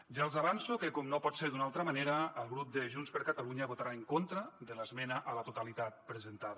ja els avanço que com no pot ser d’una altra manera el grup de junts per catalunya votarà en contra de l’esmena a la totalitat presentada